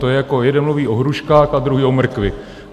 To je, jako jeden mluví o hruškách a druhý o mrkvi.